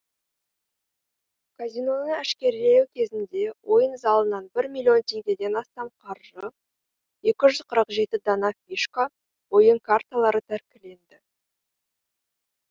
казиноны әшкерелеу кезінде ойын залынан бір миллион теңгеден астам қаржы екі жүз қырық жеті дана фишка ойын карталары тәркіленді